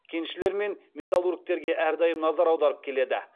кеншілер мен металлургтерге әрдайым назар аударып келеді